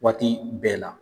Waati bɛɛ la